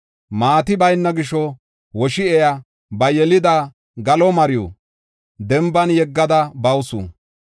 Maati bayna gisho woshi7ey ba yelida galo mariw denban yeggada bawusu.